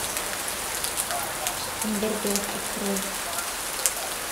андердог открой